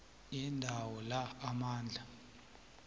yendawo la amandla